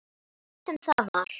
Hvað sem það var.